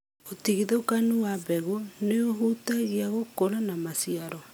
ũtigithũkanu wa mbegu nĩũhutagia gũkũra na maciaro.